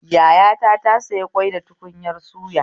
Yayata ta soya ƙwai da tukunyar suya